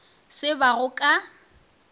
se ba go ka go